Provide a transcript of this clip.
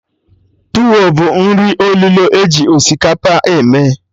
Tuwo bụ nri olulo eji osikapa eme